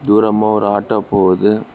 தூரமா ஒரு ஆட்டோ போவுது.